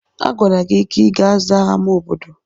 Agwara gị ka ị ga zaa ámá obodo!